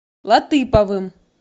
латыповым